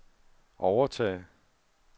overtage